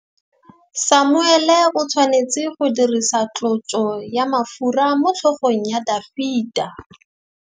Samuele o tshwanetse go dirisa tlotsô ya mafura motlhôgong ya Dafita.